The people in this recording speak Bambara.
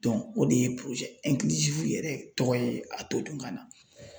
Dɔnku o de ye porozɛ ɛnkilisiwu yɛrɛ tɔgɔ ye a todunkan na